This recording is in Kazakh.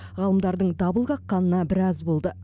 ғалымдардың дабыл қаққанына біраз болды